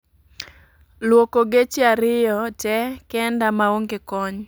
Luoko geche ariyo te kenda maonge kony